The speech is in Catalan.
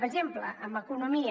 per exemple en economia